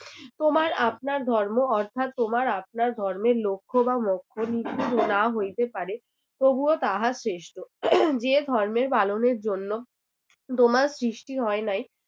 তোমার আপনার ধর্ম অর্থাৎ তোমার আপনার ধর্মের লক্ষ্য বা মোক্ষণীতি নাও হইতে পারে তবুও তাহা শ্রেষ্ঠ যে ধর্ম পালনের জন্য তোমার সৃষ্টি হয় নাই